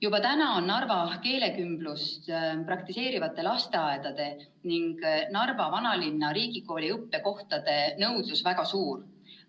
Juba täna on nõudlus Narvas keelekümblust praktiseerivate lasteaedade ning Narva Vanalinna Riigikooli õppekohtade järele väga suur.